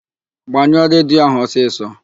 Gbanyụọ redio ahụ ọsịsọ!